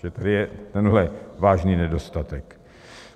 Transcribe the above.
Takže tady je tenhle vážný nedostatek.